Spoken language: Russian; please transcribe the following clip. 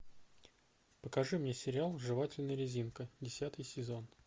покажи мне сериал жевательная резинка десятый сезон